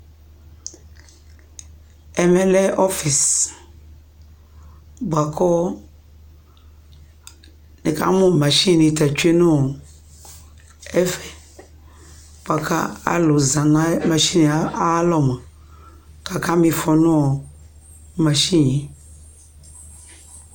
Ɛmɛ lɛ ɔfɩs bʋa kʋ nɩkamʋ masini ta tsue nʋ ɛfɛ bʋa kʋ alʋ za nʋ masini yɛ ayalɔ mʋa, kʋ akama ɩfɔ nʋ ɔ masini yɛ